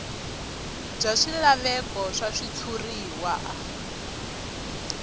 bya swilaveko swa switshuriwa a